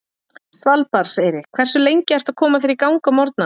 Svalbarðseyri Hversu lengi ertu að koma þér í gang á morgnanna?